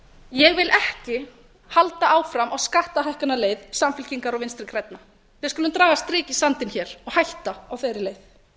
ég vil ekki halda áfram á skattahækkunarleið samfylkingar og vinstri grænna við skulum draga strik í sandinn og hætta á þeirri leið